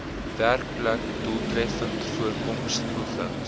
werkplek doeltreffende voorkomingspogings